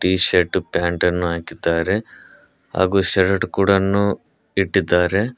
T shirt pant ಅನ್ನು ಹಾಕಿದ್ದಾರೆ ಹಾಗೆ ಶರ್ಟ್ ಕೂಡನ್ನು ಇಟ್ಟಿದ್ದಾರೆ.